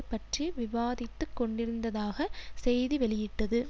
பற்றி விவாதித்துக் கொண்டிருந்ததாக செய்தி வெளியிட்டது